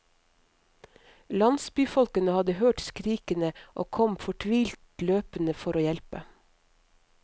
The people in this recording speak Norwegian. Landsbyfolkene hadde hørt skrikene og kom fortvilet løpende for å hjelpe.